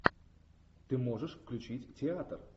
ты можешь включить театр